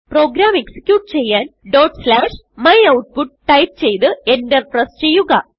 programme execute ചെയ്യാൻ dot slashmyoutput type ചെയ്ത് Enter press ചെയ്യുക